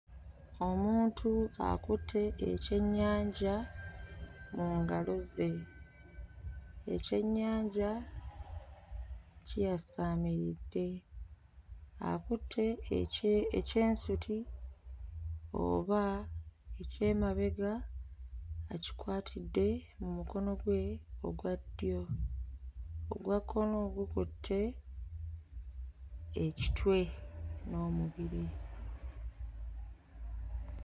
Omuntu akutte eky'ennyanja mu ngalo ze. Eky'ennyanja kiyasaamiridde. Akutte ekye ekyensuti oba eky'emabega akikwatidde mu mukono gwe ogwa ddyo, ogwa kkono gukutte ekitwe n'omubiri.